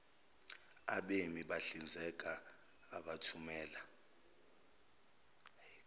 eima bahlinzeka abathumela